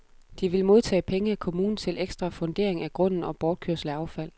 De vil modtage penge af kommunen til ekstra fundering af grunden og bortkørsel af affald.